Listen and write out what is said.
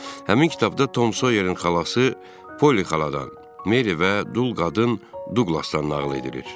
Həmin kitabda Tom Soyerin xalası Poli xaladan, Meri və Dul qadın Duqlasdan nağıl edilir.